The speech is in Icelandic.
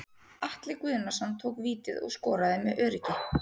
Atli Guðnason tók vítið og skoraði með öruggi.